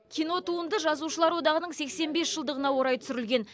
кинотуынды жазушылар одағының сексен бес жылдығына орай түсірілген